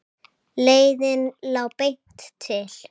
Leiðin lá beint til